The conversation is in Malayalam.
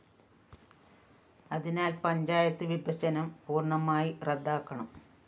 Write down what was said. അതിനാല്‍ പഞ്ചായത്ത് വിഭജനം പൂര്‍ണമായി റദ്ദാക്കണം